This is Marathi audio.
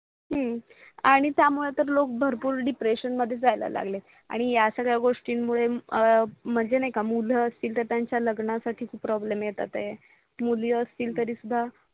हम्म आणि त्यामुळे तर लोक भरपूर DEPRESSION मध्ये जायला लागले आणि या सगळ्या गोष्टीमुळे म्हणजे नाही का मुलं असतील तर त्यांच्या लग्नासाठी खूप प्रॉब्लेम येतात. मुली असतील तरीसुद्धा.